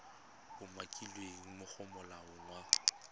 umakilweng mo go molawana wa